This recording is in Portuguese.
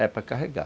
Era para carregar.